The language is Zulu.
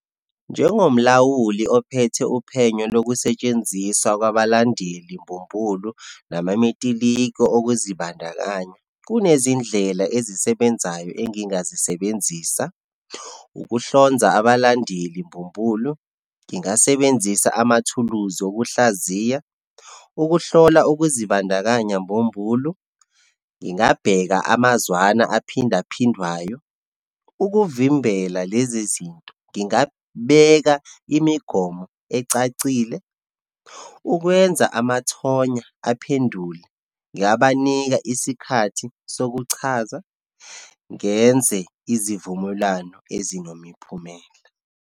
Njengomlawuli ophethe uphenyo lokusetshenziswa kwabalandeli mbumbulu namametiliko okuzibandakanya, kunezindlela ezisebenzayo engingazisebenzisa. Ukuhlonza abalandeli mbumbulu, ngingasebenzisa amathuluzi okuhlaziya. Ukuhlola ukuzibandakanya mbumbulu, ngingabheka amazwana aphinde aphindwayo. Ukuvimbela lezi zinto, ngingabeka imigomo ecacile. Ukwenza amathonya aphendule, ngingabanika isikhathi sokuchaza, ngenze izivumelwano ezinomiphumela.